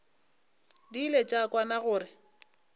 di ile tša kwana gore